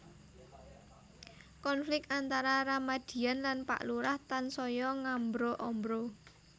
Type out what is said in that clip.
Konflik antara Ramadian lan Pak Lurah tansaya ngambra ambra